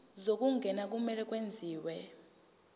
zokungena kumele kwenziwe